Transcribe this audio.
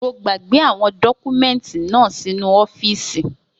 Mo gbàgbé àwọn dọ́kúmẹ́ǹtì náà sínu ọ́fìsì